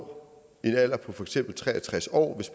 når en alder på for eksempel tre og tres år